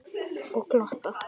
Og glotta.